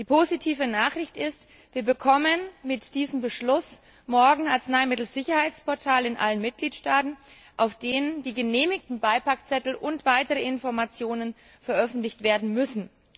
Die positive Nachricht ist Wir bekommen mit diesem Beschluss morgen Arzneimittelsicherheitsportale in allen Mitgliedstaaten, auf denen die genehmigten Beipackzettel und weitere Informationen veröffentlicht werden müssen.